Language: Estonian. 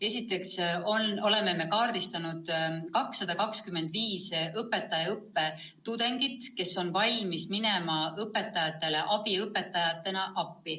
Esiteks oleme arvele võtnud 225 õpetajaõppe tudengit, kes on valmis abiõpetajatena appi minema.